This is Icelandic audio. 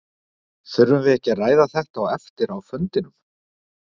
Þurfum við ekki að ræða þetta á eftir á fundinum?